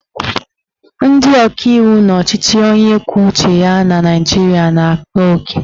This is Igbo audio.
Ndị ọkaiwu n'ọchịchị onye kwuo uche ya na Naijiria na-akpa oke